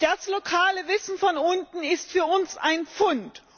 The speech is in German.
Das lokale Wissen von unten ist für uns ein Pfund.